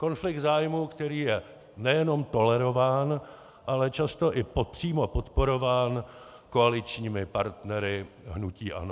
Konflikt zájmů, který je nejenom tolerován, ale často i přímo podporován koaličními partnery hnutí ANO.